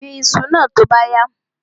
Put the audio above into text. Gbin iṣu náà tó bá yá!